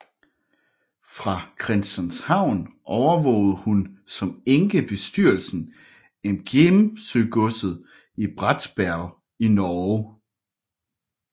Fra Christianshavn overvågede hun som enke bestyrelsen af Gjemsøgodset i Bratsberg i Norge